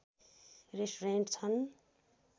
restaurant छन्